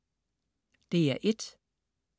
DR1: